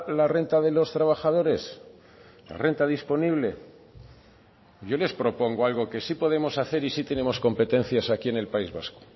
la renta de los trabajadores la renta disponible yo les propongo algo que sí podemos hacer y si tenemos competencias aquí en el país vasco